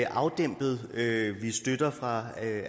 afdæmpet støtte fra